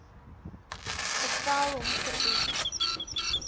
bevel hom verbied